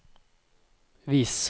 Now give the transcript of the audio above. vis